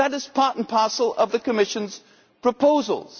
That is part and parcel of the Commission's proposals.